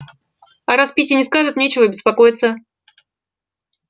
а раз питти не скажет нечего беспокоиться